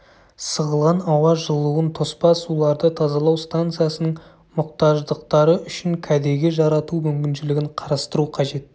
сығылған ауа жылуын тоспа суларды тазалау станциясының мұқтаждықтары үшін кәдеге жарату мүмкіншілігін қарастыру қажет